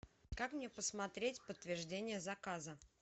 как мне посмотреть подтверждение заказа